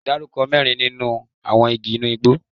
Dárúkọ mẹ́rin nínú àwọn igi inú igbó?